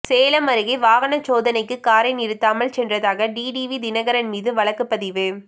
சேலம் அருகே வாகன சோதனைக்கு காரை நிறுத்தாமல் சென்றதாக டிடிவி தினகரன் மீது வழக்குப்பதிவு